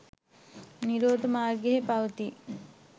නිරෝධ මාර්ගයෙහි පවතියි.